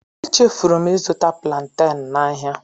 Echefuru m ịzụta plaanten n'ahịa.